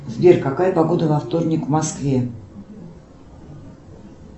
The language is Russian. сбер какая погода во вторник в москве